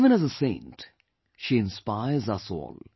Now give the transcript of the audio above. Even as a saint, she inspires us all